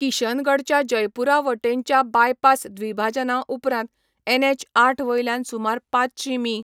किशनगढच्या जयपूरा वटेनच्या बायपास द्विभाजना उपरांत एनएच आठ वयल्यान सुमार पांचशीं मी.